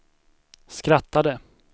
skrattade